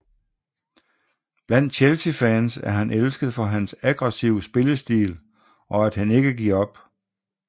Blandt Chelseafans er han elsket for hans aggressive spillestil og at han ikke giver op